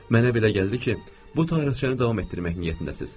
Mənə belə gəldi ki, bu tanqıçəni davam etdirmək niyyətindəsiz.